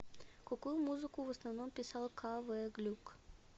какую музыку в основном писал к в глюк